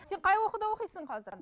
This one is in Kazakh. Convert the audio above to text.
сен қай оқуда оқисың қазір